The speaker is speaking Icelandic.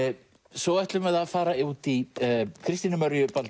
svo ætlum við að fara út í Kristínu